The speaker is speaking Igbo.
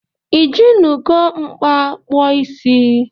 Ijinugo mkpa kpụọ isi?